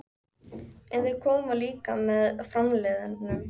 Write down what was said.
En þeir koma líka með framliðnum.